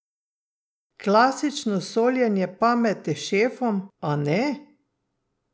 Klasično soljenje pameti šefom, a ne?